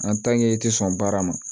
i tɛ sɔn baara ma